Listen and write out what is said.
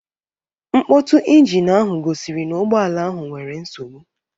Nkpotu ịnginu ahụ gosiri n'ugboala ahụ e nwere nsogbu